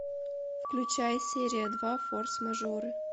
включай серия два форс мажоры